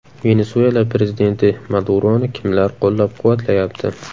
Venesuela prezidenti Maduroni kimlar qo‘llab-quvvatlayapti?.